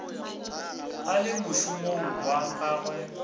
a le mošomong wa gagwe